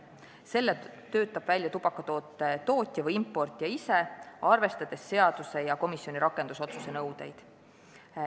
Selle töötab välja tubakatoote tootja või importija ise, arvestades seaduse ja komisjoni rakendusotsuse nõudeid.